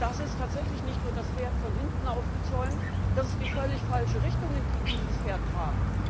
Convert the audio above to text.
Das ist tatsächlich nicht nur das Pferd von hinten aufgezäumt, das ist die völlig falsche Richtung, in die dieses Pferd trabt.